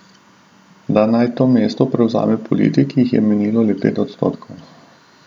Da naj to mesto prevzame politik, jih je menilo le pet odstotkov.